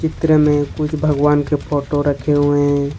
मित्र में कुछ भगवान के फोटो रखे हुए हैं।